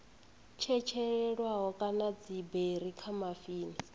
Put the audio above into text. tshetshelelwaho kana dziberi kha dzimafini